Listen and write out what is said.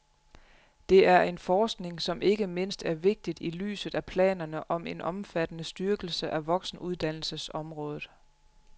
Det er en forskning, som ikke mindst er vigtig i lyset af planerne om en omfattende styrkelse af voksenuddannelseområdet.